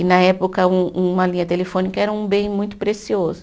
E na época um uma linha telefônica era um bem muito precioso.